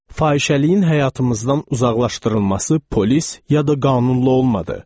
Fahişəliyin həyatımızdan uzaqlaşdırılması polis, ya da qanunlu olmadı.